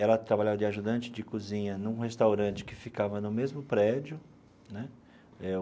Ela trabalhava de ajudante de cozinha num restaurante que ficava no mesmo prédio né.